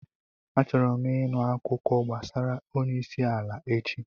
Achọrọ m ịnụ akụkọ gbasara onye isi ala echi.